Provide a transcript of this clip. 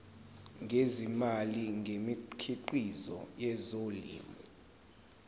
ngezimali ngemikhiqizo yezolimo